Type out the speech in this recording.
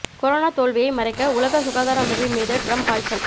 corona தோல்வியை மறைக்க உலக சுகாதார அமைப்பின் மீது டிரம்ப் பாய்ச்சல்